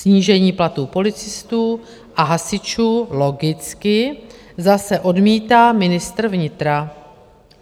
Snížení platů policistů a hasičů logicky zase odmítá ministr vnitra.